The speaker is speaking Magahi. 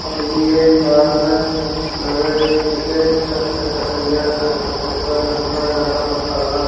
और ये एक बार में लगा है की एक छत के ढलैया कर देतई इतना ज्यादा मसाला --